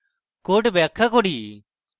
code ব্যাখ্যা করি